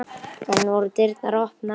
Enn voru dyrnar opnar.